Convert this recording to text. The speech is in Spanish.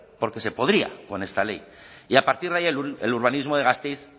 porque se podría con esta ley y a partir de ahí el urbanismo de gasteiz